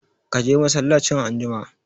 Ka je masallacin anjima!